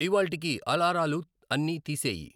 ఇవ్వాళ్టికి అలారాలు అన్ని తీసేయి.